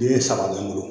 Bilen saba bɛ n bolo